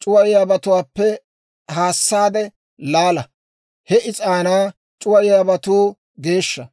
c'uwayiyaabatuwaappe haassaade laala. He is'aanaa c'uwayiyaabatuu geeshsha.